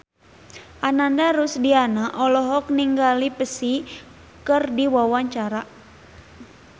Ananda Rusdiana olohok ningali Psy keur diwawancara